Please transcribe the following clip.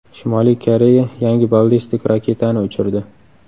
Shimoliy Koreya yangi ballistik raketani uchirdi.